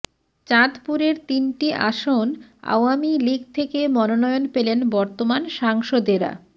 চাঁদপুরের তিনটি আসন আওয়ামী লীগ থেকে মনোনয়ন পেলেন বর্তমান সাংসদেরা